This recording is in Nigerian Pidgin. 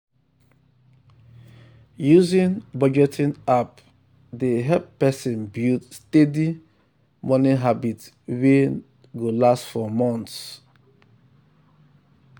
using budgeting app dey um help person build steady um money habit wey um go last for months.